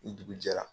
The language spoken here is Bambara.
Ni dugu jɛra